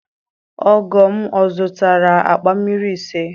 Ogo m ó zuụtara akpa mmiri ise?